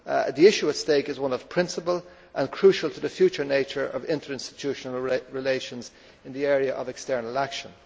The issue at stake is one of principle and is crucial to the future nature of interinstitutional relations in the area of external action.